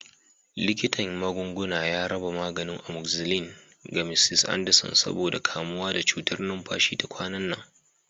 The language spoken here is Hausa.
Likitan magunguna ya raba maganin amoxicillin ga Mrs. Anderson saboda kamuwa da cutar numfashi ta kwanan nan.